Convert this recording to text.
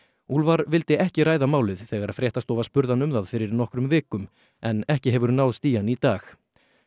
úlfar vildi ekki ræða málið þegar fréttastofa spurði hann um það fyrir nokkrum vikum en ekki hefur náðst í hann í dag